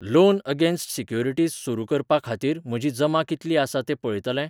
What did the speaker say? Loan against securities सुरू करपा खातीर म्हजी जमा कितली आसा ते पळयतले?